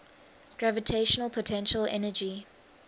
gravitational potential energy